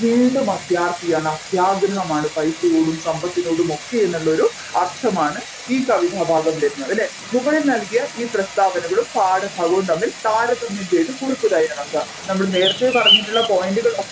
വീണ്ടും അത്യാർത്തിയാണ് അത്യാഗ്രഹമാണ് പൈസയോടും സമ്പത്തിനോടും ഒക്കെ എന്നുള്ള ഒരർത്ഥമാണ് ഈ കവിതഭാഗം വരുന്നത് അല്ലെ മുകളിൽ നൽകിയ ഈ പ്രസ്താവനകളും പാഠഭാഗവും തമ്മിൽ താരതമ്യം ചെയ്തു കുറിപ്പ് തയ്യാറാക്കുക നമ്മൾ നേരത്തെ പറഞ്ഞിട്ടുള്ള point കൾ ഒക്കെ